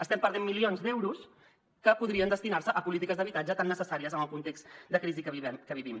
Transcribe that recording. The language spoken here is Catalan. estem perdent milions d’euros que podrien destinar se a polítiques d’habitatge tan necessàries en el context de crisi que vivim